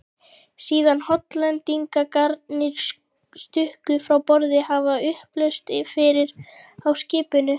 Síðan Hollendingarnir stukku frá borði, hafði upplausn verið á skipinu.